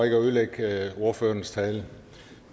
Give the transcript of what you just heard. ikke at ødelægge ordførerens tale